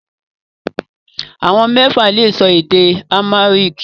Àwọn mẹ́fà lè sọ èdè Amharic